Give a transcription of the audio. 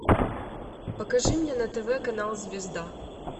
покажи мне на тв канал звезда